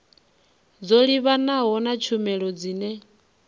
dzo livhanaho na tshumelo dzine